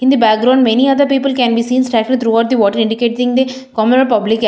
In the background many other people can be seen throughout the water indicating the common public al --